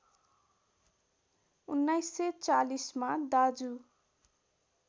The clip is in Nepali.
१९४० मा दाजु